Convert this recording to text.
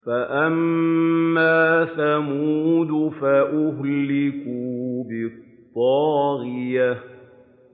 فَأَمَّا ثَمُودُ فَأُهْلِكُوا بِالطَّاغِيَةِ